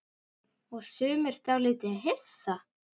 Og sumir dálítið hissa?